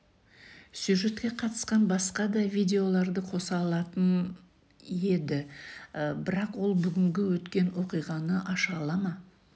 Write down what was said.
сюжетке қатысқан басқа да видеоларды қоса алатын еді бірақ ол бүгінгі өткен оқиғаны аша ала ма